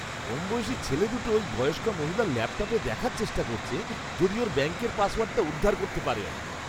কমবয়সী ছেলে দুটো ওই বয়স্কা মহিলার ল্যাপটপে দেখার চেষ্টা করছে যদি ওঁর ব্যাঙ্কের পাসওয়ার্ডটা উদ্ধার করতে পারে আর কি!